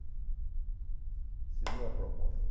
Assinou a proposta.